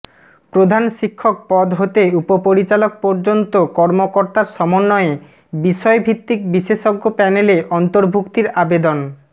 প্রধান শিক্ষক পদ হতে উপপরিচালক পর্যন্ত কর্মকর্তার সমন্বয়ে বিষয়ভিত্তিক বিশেষজ্ঞ প্যানেলে অর্ন্তভূক্তির আবেদন